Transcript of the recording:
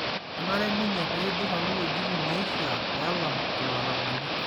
kenare ninye peidurr alo wuetin naishia peelam illarabali